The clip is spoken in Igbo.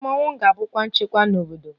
Mmọnwụ ga-abukwa nchekwa n'obodo